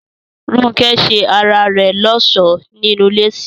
Rónkẹ́ ṣe ara rẹ̀ lọ́ṣọ̀ọ́ nínú léèsì